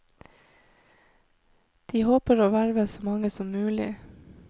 De håper å verve så mange som mulig.